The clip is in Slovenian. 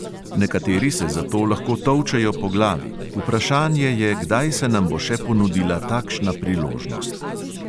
Nekateri se zato lahko tolčejo po glavi, vprašanje je, kdaj se nam bo še ponudila takšna priložnost.